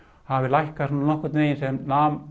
hafi lækkað svona nokkurn veginn sem nam